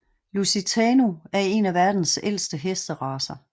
Lusitano er en af verdens ældste hesteracer